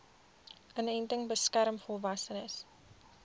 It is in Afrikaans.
inenting beskerm volwassenes